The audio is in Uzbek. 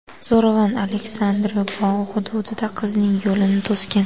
Zo‘ravon Aleksandrino bog‘i hududida qizning yo‘lini to‘sgan.